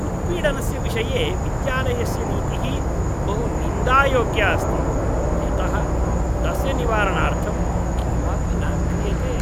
उत्पीडनस्य विषये विद्यालयस्य नीतिः बहु निन्दायोग्या अस्ति, यतः तस्य निवारणार्थं किमपि न क्रियते।